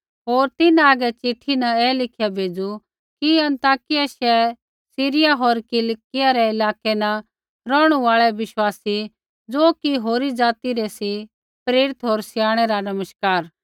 होर तिन्हां हागै चिट्ठी न ऐ लिखिया भेज़ू कि अन्ताकिया शैहर सीरिया होर किलिकिया रै इलाकै न रौहणु आल़ै बिश्वासी ज़ो कि होरी ज़ाति रै सी प्रेरित होर स्याणै रा नमस्कार